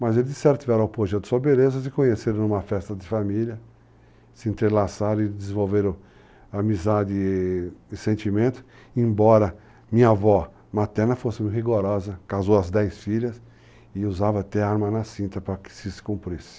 Mas eles certiveram o pojé de soberanas e conheceram numa festa de família, se entrelaçaram e desenvolveram amizade e sentimento, embora minha avó materna fosse rigorosa, casou as 10 filhas e usava até arma na cinta para que se cumprisse.